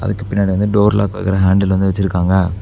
அதுக்கு பின்னாடி வந்து டோர் லாக் வைக்கிற ஹாண்டில் வந்து வச்சிருக்காங்க.